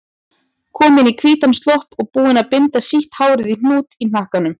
Komin í hvítan slopp og búin að binda sítt hárið í hnút í hnakkanum.